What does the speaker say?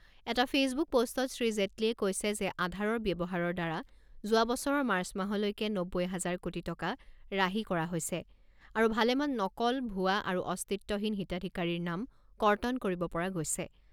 এটা ফেচবুক পষ্টত শ্ৰী জেটলীয়ে কৈছে যে আধাৰৰ ব্যৱহাৰৰ দ্বাৰা যোৱা বছৰৰ মাৰ্চ মাহলৈকে নব্বৈ হাজাৰ কোটি টকা ৰাহি কৰা হৈছে আৰু ভালেমান নকল, ভুৱা আৰু অস্তিত্বহীন হিতাধিকাৰীৰ নাম কৰ্তন কৰিব পৰা গৈছে।